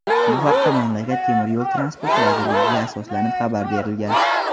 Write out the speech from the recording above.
Bu haqda mamlakat Temir yo‘l transporti vazirligiga asoslanib xabar berilgan.